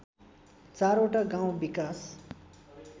चारवटा गाउँ विकास